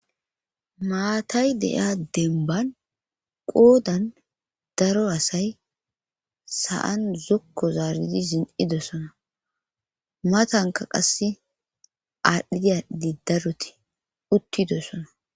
Maatay deiya denban qoodan daro asay sa'an zokko zaaridi zin'idessona matanka qasse aadhdhida diddaroti uttidossona.